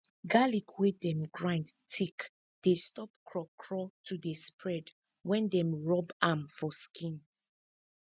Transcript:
garlic wey dem grind thick dey stop craw craw to dey spread wen dem rub am put for skin